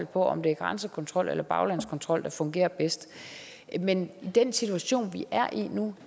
på om det er grænsekontrol eller baglandskontrol der fungerer bedst men i den situation vi er i nu